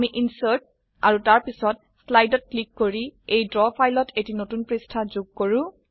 আমি ইনচাৰ্ট আৰু তাৰ পিছত স্লাইডত ক্লিক কৰি এই ড্ৰ ফাইলত এটি নতুন পৃষ্ঠা যোগ কৰো